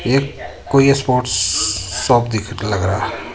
एक कोई एक स्पोर्ट्स शॉप दिख लग रहा है.